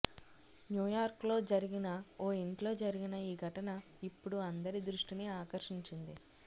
న్యూయార్క్లో జరిగిన ఓ ఇంట్లో జరిగిన ఈ ఘటన ఇప్పుడు అందరి దృష్టిని ఆకర్షించింది